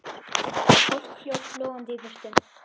Fólk hljóp logandi í burtu.